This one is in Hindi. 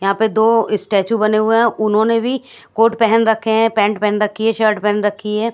यहां पे दो स्टैचू बने हुए हैं उन्होंने भी कोट पहेन रखे हैं पैंट पहन रखी है शर्ट पहन रखी है।